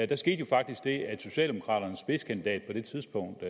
der skete jo faktisk det at socialdemokraternes spidskandidat på det tidspunkt